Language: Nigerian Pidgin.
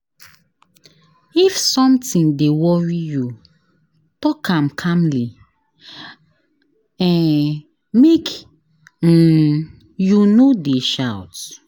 If sometin dey worry you, tok am calmly, um make um you no dey shout.